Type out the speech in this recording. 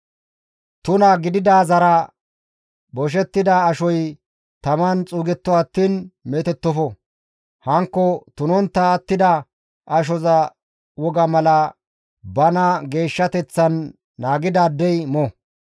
« ‹Tuna gididaazara boshettida ashoy taman xuugetto attiin meetettofo; hankko tunontta attida ashoza woga mala bana geeshshateththan naagidaaddey mo.